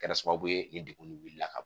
Kɛra sababu ye ni degun wulila ka ban